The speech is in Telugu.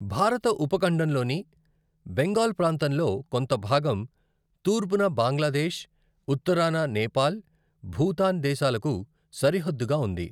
భారత ఉపఖండంలోని బెంగాల్ ప్రాంతంలో కొంత భాగం తూర్పున బంగ్లాదేశ్, ఉత్తరాన నేపాల్, భూటాన్ దేశాలకు సరిహద్దుగా ఉంది.